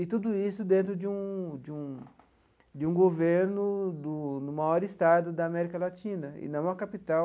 E tudo isso dentro de um de um de um governo do do maior estado da América Latina, e não a capital